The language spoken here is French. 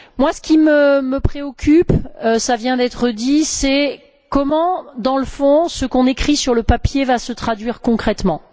Ce qui me préoccupe cela vient d'être dit c'est comment, dans le fond, ce qu'on écrit sur le papier, va se traduire concrètement.